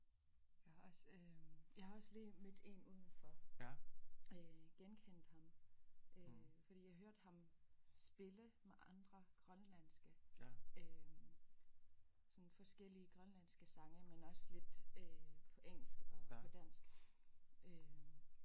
Jeg har også øh jeg har også lige mødt en udenfor genkendte ham øh fordi jeg hørte ham spille med andre grønlandske sådan forskellige grønlandske sange men også lidt på engelsk og på dansk